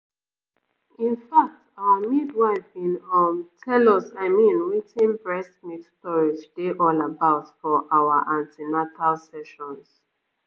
in fact our midwife been um tell us i mean wetin breast milk storage dey all about for our an ten atal sessions